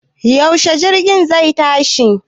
Yaushe jirgin zai tashi